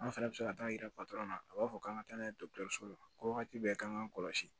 An fɛnɛ bɛ se ka taa yira na a b'a fɔ k'an ka taa n'a ye dɔgɔtɔrɔso la ko wagati bɛɛ k'an k'an kɔlɔsi